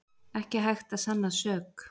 Ekki hægt að sanna sök